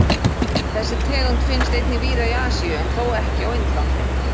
Þessi tegund finnst einnig víða í Asíu en þó ekki á Indlandi.